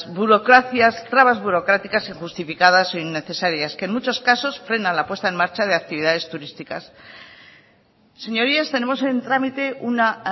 burocracias trabas burocráticas e injustificadas e innecesarias que en muchos casos frena la puesta en marcha de actividades turísticas señorías tenemos en trámite una